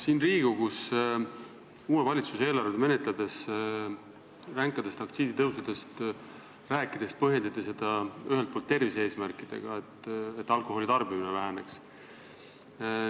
Siin Riigikogus uue valitsuse eelarve menetlemisel ränkadest aktsiisitõusudest rääkides põhjendati seda ühelt poolt tervise-eesmärkidega, nimelt on vaja, et alkoholi tarbimine väheneks.